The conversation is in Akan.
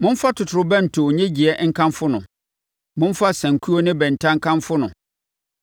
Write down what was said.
Momfa totorobɛnto nnyegyeeɛ nkamfo no, momfa asankuo ne bɛnta nkamfo no,